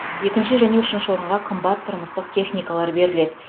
екінші және үшінші орынға қымбат тұрмыстық техникалар беріледі